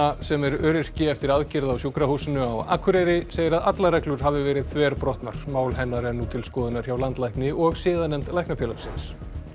sem er öryrki eftir aðgerð á sjúkrahúsinu á Akureyri segir að allar reglur hafi verið þverbrotnar mál hennar er nú til skoðunar hjá landlækni og siðanefnd Læknafélagsins